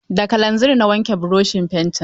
Da kalanzir na wanke broshin fenti.